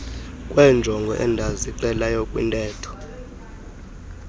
kweenjongo endazixelayo kwintetho